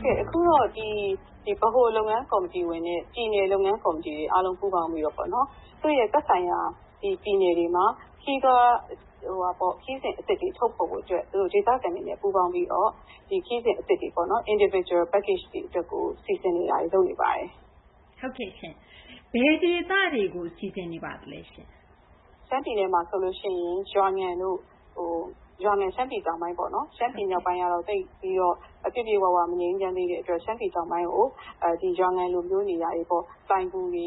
်ကဲ့ အခုတော့ ဒီ ဗဟိုလုပ်ငန်း ကော်မတီဝင်တွေနဲ့ ပြည်နယ် လုပ်ငန်း ကော်မတီတွေ အားလုံးပူးပေါင်းပြီးတော့ ပေါ့နော် သက်ဆိုင်ရာ ပြည်နယ်တွေမှာ ခရီးစဉ် အသစ်တွေ ထုတ်ဖော်ဖို့ အတွက် ဒေသခံတွေနဲ့ ပူးပေါင်းပြီးတော့ ခရီးစဉ် အသစ်တွေပေ့ါနော် Individual Package အသစ်တွေ လုပ်ဖို့ စီစဉ်တာတွေ လုပ်နေပါတယ်။ ဟုတ်ကဲ့ရှင့်။ ဘယ်ဒေသတွေကို စီစဉ်နေပါလဲရှင့်။ ရှမ်းပြည်မှာ ဆိုရင် ရွာငံပေါ့ ရွာငံက ရှမ်းပြည် တောင်ပိုင်းပေါ့နော် ရှမ်းပြည် မြောက်ပိုင်းကတော့ သိပ်ပြီးတော့ ပြည့်ပြည့်၀၀ မငြိမ်းချမ်းသေးတဲ့ အတွက် ရှမ်းပြည် တောင်ပိုင်း ရွာငံ လိုမျိုး နေရာတွေပေါ့၊ လိုဏ်ဂူတွေ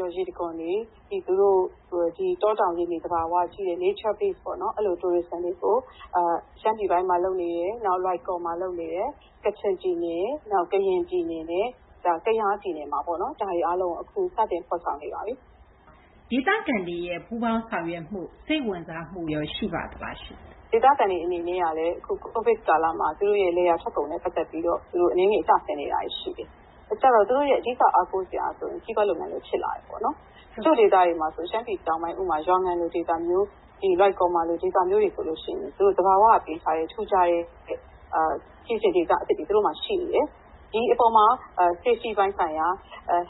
၊ ရေတံခွန်တွေ၊ ပြီးတော့ သူတို့ရဲ့ ဒီ တောတောင် ရေမြေ သဘာ၀ ကြည့်တဲ့ Nature Base ပေါ့နော် အဲလို ခရီးသွားလုပ်ငန်းတွေကို ရှမ်းပြည်တောင်ပိုင်းမှာ လုပ်နေတယ်၊ နောက် လွိုင်ကော်မှာ လုပ်နေတယ်။ ကချင် ပြည်နယ်၊ နောက် ကရင် ပြည်နယ်၊ နောက် ကယား ပြည်နယ်မှာပေါ့နော် ဒါတွေ အားလုံးကို အခု စတင် ဖော်ဆောင် နေပါပြီ။ ဒေသခံတွေရဲ့ ပူးပေါင်း ဆောင်ရွက်မှု စိတ်ဝင်စားမှုရော ရှိပါသလားရှင့်။ ဒေသခံတွေ အနေနဲ့ကလည်း အခု COVID ကာလမှာ သူတို့ရဲ့ လယ်ယာ ထွက်ကုန်နဲ့ ပတ်သက်ပြီးတော့ အနည်းငယ် ကျဆင်းနေတာတွေ ရှိတယ်။ အဲဒီတော့ သူတို့ အဓိက အားကိုးစရာဟာဆိုရင် ခရီးသွား လုပ်ငန်း ဖြစ်လာတယ်ပေါ့နော်။ တချို့ ဒေသတွေမှာ ဆိုရင် ဥပမာ ရှမ်းပြည် တောင်ပိုင်း ရွာငံလို ဒေသမျိုး နောက် လွိုင်ကော်လို ဒေသမျိုးတွေ ဆိုရင် သူတို့ သဘာဝက ပေးထားတဲ့ ထူးခြားတဲ့ ခရီးစဉ် ဒေသ အသစ်တွေ သူတို့မှာ ရှိနေတယ်။ ဒီအပေါ်မှာ ဘေးကင်းလုံခြုံမှု ဆိုင်ရာ ၊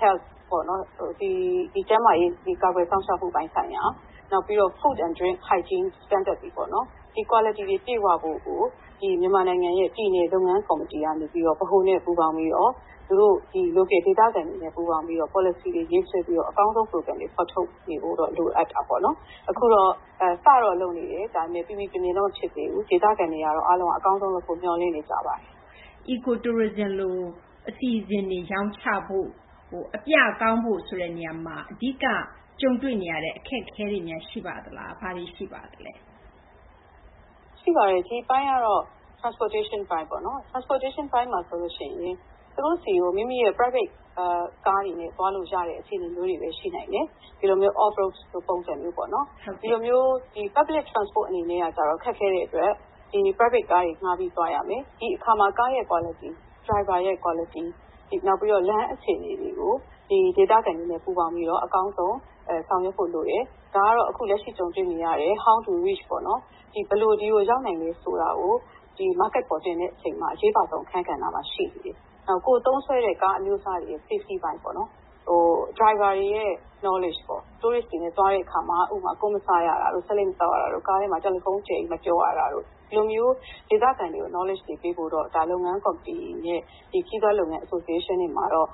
ကျန်းမာရေး ကာကွယ်စောင့်ရှောက်မှု ဆိုင်ရာ ၊ နောက်ပြီးတော့ သန့်ရှင်းတဲ့ အစားအသောက် အဆင့်အတန်းတွေပေါ့နော် ဒီ အရည်အသွေးတွေ ပြည့်ဝဖို့ အတွက်ကို ဒီ မြန်မာနိုင်ငံရဲ့ ဒီ ပြည်နယ် လုပ်ငန်းကော်မတီကနေ ဗဟိုနဲ့ ပူးပေါင်းပြီးတော့ သူတို့ ဒီ ဒေသခံတွေနဲ့ ပူးပေါင်းပြီးတော့ ပေါ်လစီတွေ ရေးဆွဲပြီးတော့ အကောင်းဆုံး ပရိုဂရမ်တွေ ဖော်ထုတ်နေဖို့တော့ လိုအပ်တာပေါ့နော်။ အခုတော့ စတော့ လုပ်နေတယ်။ ပီပီပြင်ပြင်တော့ ဖြစ်သေးဘူး။ ဒေသခံတွေကတော့ အားလုံးက အကောင်းဆုံး လုပ်ဖို့ မျှော်လင့်နေကြပါတယ်။ Eco Tourism - သဘာ၀ အခြေခံ ခရီးသွား အစီအစဉ်တွေ ရောင်းချဖို့မှာ အပြကောင်းဖို့ ဆိုတဲ့ နေရာမှာ အဓိက ကြုံတွေ့နေရတဲ့ အခက်အခဲတွေများ ရှိပါသလား။ ဘာတွေ ရှိပါသလဲ။ ရှိပါတယ်။ ဒီအပိုင်းကတော့ Transpiration အပိုင်းပေါ့နော်။ ဒီအပိုင်းမှာ ဆိုလို့ ရှိရင် ကိုယ့်ကား အစီအစဉ်နဲ့ သွားလို့ ရတဲ့ အခြေအနေမျိုးတွေလည်း ရှိနိုင်တယ်။ ဒီလိုမျိုး off-road ပုံစံမျိုးပေါ့နော်။ ဒီလိုမျိုး အများပြည်သူ သယ်ယူပို့ဆောင်ရေးက ခက်ခဲတဲ့ အတွက် ဒီ Private ကားတွေ ငှားပြီး သွားရမယ်။ ဒီအခါမှာ ကား ကောင်းဖို့၊ နောက် ယာဉ်မောင်းရဲ့ အရည်အချင်း ပြည့်ဝမှု နောက်ပြီးတော့ လမ်းအခြေအနေတွေကို ဒေသခံတွေနဲ့ ပူးပေါင်းပြီးတော့ အကောင်းဆုံး ဆောင်ရွက်ဖို့ လိုတယ်။ ဒါကတော့ အခုလက်ရှိ ကြုံတွေ့နေရတဲ့ ဘယ်လို အရောက် သွားနိုင်မလဲ ဆိုတာပေါ့နော်။ ဘယ်လို ဒီကို ရောက်နိုင်လဲ ဆိုတာကို ဈေးကွက်ကို တင်တဲ့ အခါမှာ အရေးပါဆုံး အခန်းကဏ္ဍမှာ ရှိနေတယ်။ နောက် ကိုယ်သုံးစွဲတဲ့ ကားအမျိုးအစားတွေရဲ့ ဘေးကင်းလုံခြုံမှု အပိုင်းပေါ့နော်။ နောက် ယာဉ်မောင်းတွေရဲ့ အတွေ့အကြုံရှိမှုပေါ့၊ ကမ္ဘာလှည့် ခရီးသွားတွေနဲ့ သွားတဲ့ အခါမှာ ဥပမာ ကွမ်းမစားရတာတို့၊ ဆေးလိပ် မသောက်ရတာတို့၊ ကားထဲမှာ တယ်လီဖုန်း အကျယ်ကြီး မပြောရတာတို့ ဒီလိုမျိုး ဒေသခံတွေကို အတွေ့အကြုံ မျှဝေပေးဖို့တော့ ဒါ လုပ်ငန်း ကော်မတီ အနေနဲ့ ဒီ ခရီးသွား လုပ်ငန်း အဖွဲ့တွေမှာတော့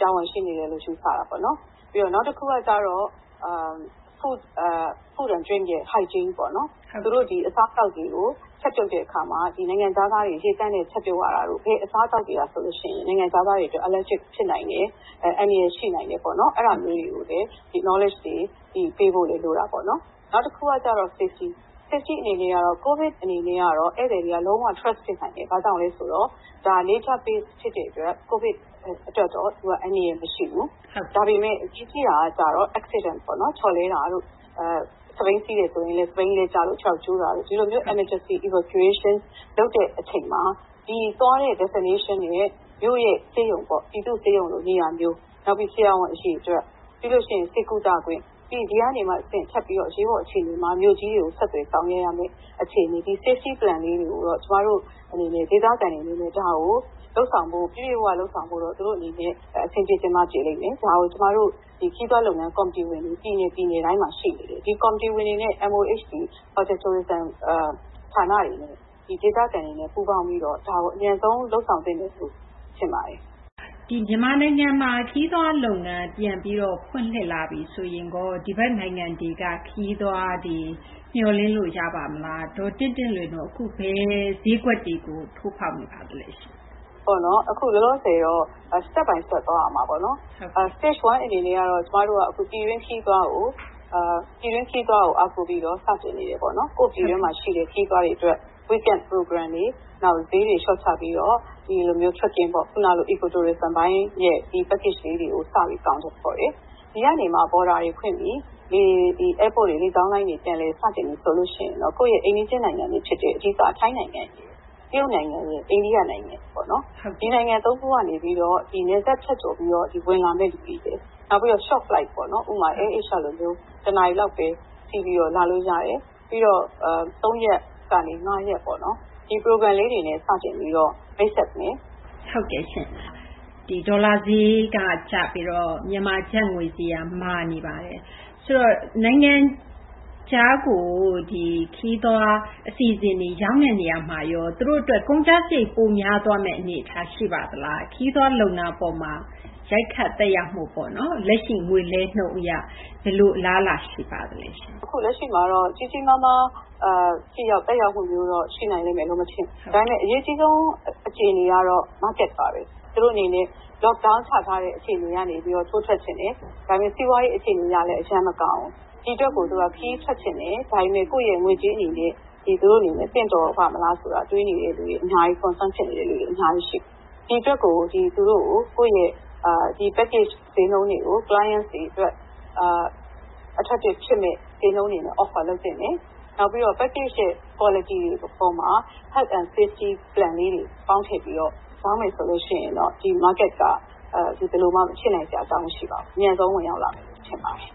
တာဝန်ရှိနေတယ်လို့ ယူဆတာပေါ့နော်။ နောက် တခုက ကျတော့ အစားအသောက် သန့်ရှင်း ဘေးကင်းမှုပေါ့နော်။ သူတို့ ဒီ အစားအသောက်တွေကို ချက်ပြုတ်တဲ့ အခါမှာ ဒီ နိုင်ငံခြားသားတွေ ရေသန့်နဲ့ ချက်ပြုတ် ရတာတို့၊ ဘယ် အစားအသောက်တွေက ဆိုရင် နိုင်ငံခြားသားတွေ အတွက် ဓာတ်မတည့်မှု ဖြစ်နိုင်တယ် ၊ အန္တရာယ် ရှိနိုင်တယ်။ အဲဒါမျိုးတွေကို ဒီ ဗဟုသုတ ပေးဖို့လည်း လိုတာပေါ့နော်။ နောက်တခုက ကျတော့ ဘေးကင်းလုံခြုံမှု၊ Safety အနေနဲ့က COVID အနေနဲ့က ဧည့်သည်တွေက ယုံကြည်မှု ရှိနိုင်တယ်။ ဘာကြောင့်လဲ ဆိုတော့ ဒါက သဘာ၀ အခြေခံ ခရီးသွား အစီအစဉ် ဖြစ်တဲ့ အတွက် COVID အတွက်တော့ သူက အန္တရာယ် မရှိဘူး။ ဒါပေမယ့် အရေးကြီးတာက ကျတော့ မတော်တဆမှုတွေပေါ့နော် ချော်လဲတာတို့၊ စက်ဘီးစီးရင်လည်း စက်ဘီးလဲကျလို့ ခြေထောက်ကျိုးတာတို့ ဒီလိုမျိုး အရေးပေါ် ကယ်ဆယ်ရေး လုပ်ရတဲ့ အချိန်မှာ သွားတဲ့ ဒေသရဲ့ မြို့ရဲ့ ဆေးရုံပေါ့၊ ပြည်သူ့ ဆေးရုံလို နေရာမျိုး ၊ နောက်ပြီး ဆရာဝန် အရေအတွက် ၊ ပြီးလို့ ရှိရင် ဆေးကုသခွင့်၊ ပြီးတော့ ဒီကနေမှ တဆင့် ထပ်ပြီးတော့ အရေးပေါ် အခြေအနေမှာ မြို့ကြီးတွေကို ဆက်သွယ် ဆောင်ရွက်ရမယ့် အခြေအနေ ဒီ ဘေးကင်းလုံခြုံမှု ဆိုင်ရာ အစီအစဉ် လေးတွေကိုတော့ ကျမတို့ အနေနဲ့ ဒေသခံတွေ အနေနဲ့ ဒါကို ပြည့်ပြည့်၀၀ လုပ်ဆောင်ဖို့တော့ သူတို့ အနေနဲ့ အဆင်ပြေချင်မှ ပြေလိမ့်မယ်။ ဒါကို ကျမတို့ ခရီးသွား လုပ်ငန်း ကော်မတီတွေ ပြည်နယ် ပြည်နယ်တိုင်းမှာ ရှိနေတယ်။ ဒီကော်မတီဝင်တွေနဲ့ MOHD – ခရီးသွားလုပ်ငန်း ဌာနတွေနဲ့ ဒေသခံတွေနဲ့ ပူးပေါင်းပြီးတော့ ဒါကို အမြန်ဆုံး လုပ်ဆောင်သင့်တယ်လို့ ထင်ပါတယ်။ ဒီ မြန်မာနိုင်ငံမှာ ခရီးသွား လုပ်ငန်း ပြန်ပြီးတော့ ဖွင့်လှစ်လာပြီ ဆိုရင်ရော ဒီဘက်နိုင်ငံတွေက ခရီးသွားတွေ မျှော်လင့်လို့ ရပါ့မလား။ ဒေါ်တင့်တင့်လွင်တို့ အခု ဘယ်ဈေးကွက်တွေကို ထိုးဖောက်နေပါလဲ။ အခု လောလောဆယ်တော့ တဆင့်ချင်း သွားရမယ်။ အဆင့် ၁ အနေနဲ့ကတော့ ပြည်တွင်း ခရီးသွားကို အားကိုးပြီးတော့ စတင် နေတယ်ပေါ့နော်။ ကိုယ့်ပြည်တွင်းမှာ ရှိတဲ့ ခရီးသွားတွေ အတွက် Weekend အစီအစဉ်တွေ၊ ဈေးတွေ လျှော့ချပြီးတော့ ဒီလိုမျိုး သဘာ၀ အခြေခံ ခရီးသွားပိုင်းပေါ့ ဒီ အစီအစဉ်တွေကို စပြီး အကောင်အထည် ဖော်တယ်။ ဒီကနေမှ နယ်စပ်တွေ ဖွင့်ပြီ လေကြောင်းလိုင်းတွေ ပြန်လည် စတင်ပြီ ဆိုလို့ရှိရင်တော့ ကိုယ့်ရဲ့ အိမ်နီးချင်း နိုင်ငံတွေ ဖြစ်တဲ့ ဥပမာ ထိုင်းနိုင်ငံ၊ တရုတ်နိုင်ငံ ၊ အိန္ဒိယ နိုင်ငံ တွေပေါ့။ ဒီနိုင်ငံ သုံးခုက နေပြီးတော့ နယ်စပ် ဖြတ်ကျော် ပြီးတော့ ဝင်လာမယ့် လူတွေရယ်။ နောက် ခရီးတို ပျံသန်းမှုပေါ့နော် ဥပမာ Air Asia လိုမျိုး တနာရီ လောက်ဘဲ စီးပြီး လာလို့ ရတယ်။ ပြီးတော့ ၃ ရက်ကနေ ၅ ရက်ပေါ့ ဒီ အစီအစဉ်လေးတွေနဲ့ စတင်ပြီးတော့ မိတ်ဆက်မယ်။ ဟုတ်ကဲ့ရှင့်။ ဒီ ဒေါ်လာဈေးက ကျပြီးတော့ မြန်မာ ကျပ်ငွေ ဈေးက မာနေပါတယ်။ ဆိုတော့ နိုင်ငံခြားကို ခရီးသွား အစီအစဉ်တွေ ရောင်းတဲ့ နေရာမှာ သူတို့ အတွက် ကုန်ကျစာရိတ် ပိုများသွားမယ့် အနေအထား ရှိပါသလား။ ခရီးသွား လုပ်ငန်း အပေါ်မှာ ရိုက်ခတ် သက်ရောက်မှု ပေါ့နော် လက်ရှိ ငွေလဲနှုန်း အရ ဘယ်လို အလားအလာ ရှိပါသလဲရှင့်။ အခု လက်ရှိမှာတော့ ကြီးကြီးမားမား သက်ရောက်မှု ရှိနိုင်မယ်လို့ မထင်ဘူး။ ဒါပေမယ့် အရေးကြီးဆုံး အခြေအနေကတော့ ဈေးကွက်ပါဘဲ။ သူတို့ အနေနဲ့ အသွားအလာ ပိတ်ပင်ကန့်သတ်ခံထားရတဲ့ အခြေအနေကနေပြီးတော့ ထိုးထွက် ချင်တယ်၊ ဒါပေမယ့် စီးပွားရေး အခြေအနေကလည်း အရမ်း မကောင်းဘူး။ ဒီ အတွက်ကို သူတို့က ခရီးထွက်ချင်တယ်၊ ဒါပေမယ့် ကိုယ့်ရဲ့ ငွေကြေးနဲ့ သင့်တော်ပါ့မလားလို့ တွေးနေတဲ့သူတွေ အများကြီးဘဲ ရှိတယ်။ ဒီအတွက် ကိုယ့်ရဲ့ ခရီးသွား အစီအစဉ် ဈေးနှုန်းတွေကို ဖောက်သည်တွေကို စွဲဆောင်နိုင်မယ့် ဈေးနှုန်းတွေနဲ့ ကမ်းလှမ်းသင့်တယ်။ နောက်ပြီးတော့ ခရီးသွား အစီအစဉ်ရဲ့ အရည်အသွေးပိုင်းမှာ ကျန်းမာရေးနဲ့ ဘေးကင်းလုံခြုံရေး အစီအစဉ်လေးတွေ ပေါင်းထည့်ပြီးတော့ ရောင်းမယ် ဆိုလို့ ရှိရင် ဒီ ဈေးကွက်က ဘယ်လိုမှ မဖြစ်နိုင်စရာ အကြောင်း မရှိပါဘူး။ အမြန်ဆုံး ဝင်ရောက်လာမယ်လို့ ထင်ပါတယ်။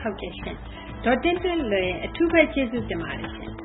ဟုတ်ကဲ့ရှင့်။ ဒေါ်တင့်တင့်လွင် အထူးဘဲ ကျေးဇူးတင်ပါတယ်ရှင့်။